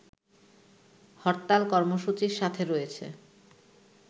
হরতাল কর্মসূচির সাথে রয়েছে